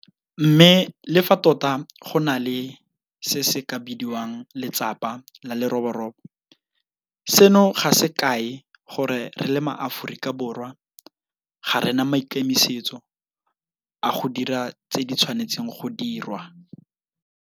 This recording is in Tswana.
Mme le fa tota go na le se se ka bidiwang 'letsapa la leroborobo', seno ga se kae gore re le maAforika Borwa ga re na maikemisetso a go dira tse di tshwanetseng go dirwa.